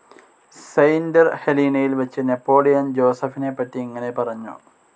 Saint ഹെലീനയിൽ വെച്ചു Napoleon ജോസഫിനെപറ്റി ഇങ്ങനെ പറഞ്ഞു.